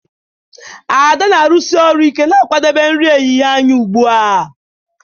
Ada na-arụsi ọrụ ike na-akwadebe nri ehihie anyị ugbu a